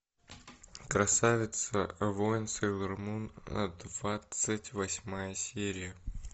красавица воин сейлор мун двадцать восьмая серия